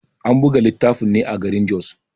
An buga littafin ne a garin Jos.